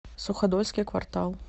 суходольский квартал